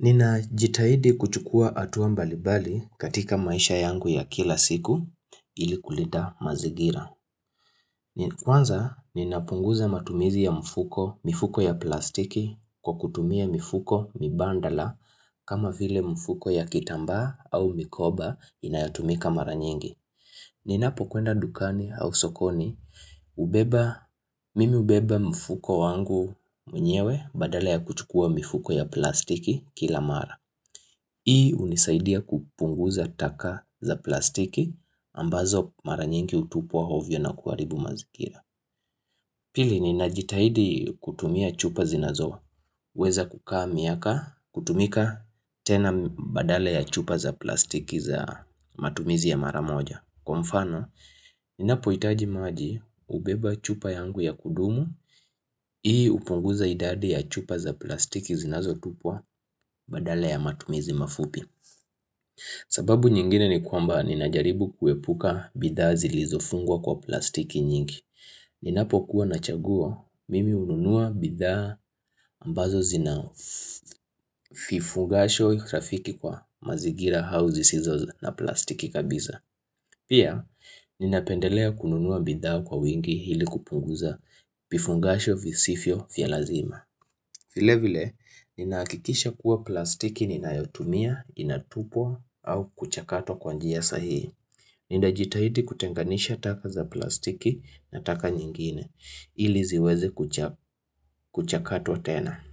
Ninajitahidi kuchukua hatuambalimbali katika maisha yangu ya kila siku ili kulita mazigira. Kwanza ninapunguza matumizi ya mfuko mifuko ya plastiki kwa kutumia mifuko mibadala kama vile mfuko ya kitamba au mikoba inayotumika mara nyingi. Ninapokwenda dukani au sokoni mimi hubeba mfuko wangu mwenyewe badala ya kuchukua mifuko ya plastiki kila mara. Hii hunisaidia kupunguza taka za plastiki ambazo mara nyingi hutupwa ovyo na kuharibu mazingira. Pili ni najitahidi kutumia chupa zinazo. Weza kukaa miaka kutumika tena badala ya chupa za plastiki za matumizi ya mara moja. Kwa mfano, ninapohitaji maji hubeba chupa yangu ya kudumu. Hii hupunguza idadi ya chupa za plastiki zinazotupwa badala ya matumizi mafupi. Sababu nyingine ni kwamba ninajaribu kuepuka bidhaa zilizofungwa kwa plastiki nyingi Ninapo kuwa nachagua mimi hununua bidhaa ambazo zinafungasho urafiki kwa mazingira au zisizo na plastiki kabisa Pia ninapendelea kununua bidhaa kwa wingi ili kupunguza Fifungasho visivyo vya lazima vile vile, ninahakikisha kuwa plastiki ninayotumia, inatupwa au kuchakatwa kwa njia sahii. Ninajitahidi kutenganisha taka za plastiki na taka nyingine, ili ziweze kuchakatwa tena.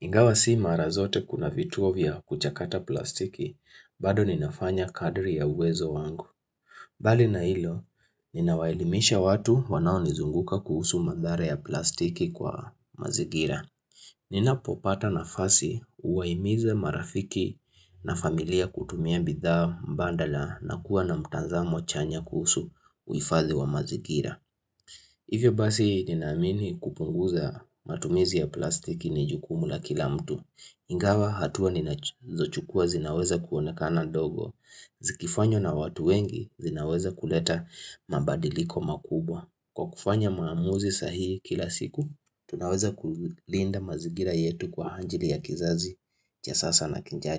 Ingawa si mara zote kuna vituo vya kuchakata plastiki, bado ninafanya kadri ya uwezo wangu. Bali na hilo, ninawaelimisha watu wanao nizunguka kuhusu madhara ya plastiki kwa mazingira. Nina popata nafasi huwahimiza marafiki na familia kutumia bidhaa mbadala na kuwa na mtazamo chanya kusu uhifadhi wa mazingira Hivyo basi ninaamini kupunguza matumizi ya plastiki ni jukumu la kila mtu Ingawa hatua ninazo chukua zinaweza kuonekana dogo Zikifanywa na watu wengi zinaweza kuleta mabadiliko makubwa Kwa kufanya maamuzi sahihi kila siku Tunaweza kulinda mazingira yetu kwa ajili ya kizazi cha sasa na kijacho.